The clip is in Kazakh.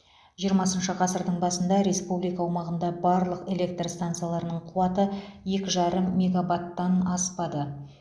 жиырмасыншы ғасырдың басында республика аумағындағы барлық электр стансаларының қуаты екі жарым мегаваттан аспады